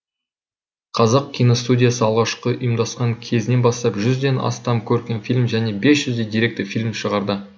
қазақ киностудиясы алғашқы ұйымдасқан кезінен бастап жүзден астам көркем фильм және бес жүздей деректі фильм шығарды